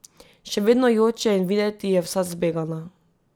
Še vedno joče in videti je vsa zbegana.